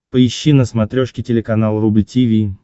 поищи на смотрешке телеканал рубль ти ви